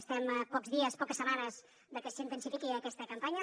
estem a pocs dies a poques setmanes de que s’intensifiqui aquesta campanya